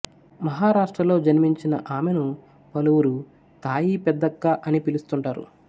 మహారాష్ట్రలో జన్మించిన ఆమెను పలువురు తాయి పెద్దక్క అని పిలుస్తుంటారు